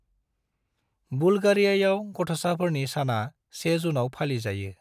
बुल्गारियायाव गथसाफोरनि साना 1 जुनाव फालि जायो।